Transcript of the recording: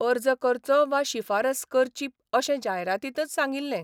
अर्ज करचो वा शिफारस करची अशें जायरातींतच सांगिल्ले.